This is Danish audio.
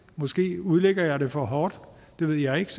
måske udlægger jeg det for hårdt det ved jeg ikke